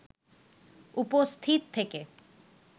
উপস্থিত থেকে